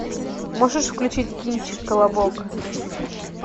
можешь включить кинчик колобок